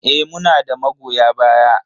Eh, muna da magoya baya.